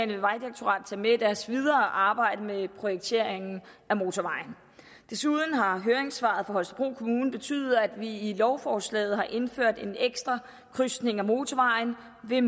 vil vejdirektoratet tage med i deres videre arbejde med projekteringen af motorvejen desuden har høringssvaret fra holstebro kommune betydet at vi i lovforslaget har indført en ekstra krydsning af motorvejen ved